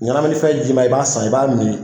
Ɲanamini fɛn jiiman i b'a san, i b'a min